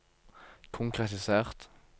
konkretisert